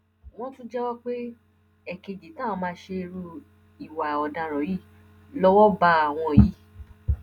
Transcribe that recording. wọn tún jẹwọ pé ẹẹkejì táwọn máa ṣerú ìwà ọdaràn yìí lọwọ bá àwọn yìí